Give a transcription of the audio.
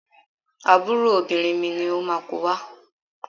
Àbúrò obìnrin mi ni ó máa ko wá.